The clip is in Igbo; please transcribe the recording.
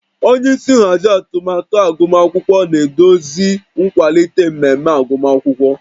Onye isi nhazi atụmatụ agụmakwụkwọ na-eduzi nkwalite mmemme agụmakwụkwọ